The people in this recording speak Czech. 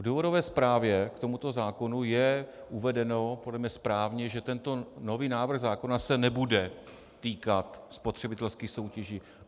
V důvodové zprávě k tomuto zákonu je uvedeno, podle mne správně, že tento nový návrh zákona se nebude týkat spotřebitelských soutěží.